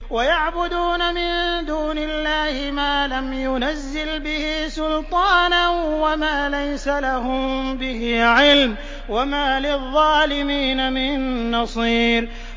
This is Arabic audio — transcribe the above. وَيَعْبُدُونَ مِن دُونِ اللَّهِ مَا لَمْ يُنَزِّلْ بِهِ سُلْطَانًا وَمَا لَيْسَ لَهُم بِهِ عِلْمٌ ۗ وَمَا لِلظَّالِمِينَ مِن نَّصِيرٍ